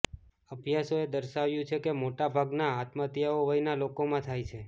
અભ્યાસોએ દર્શાવ્યું છે કે મોટાભાગના આત્મહત્યાઓ વયના લોકોમાં થાય છે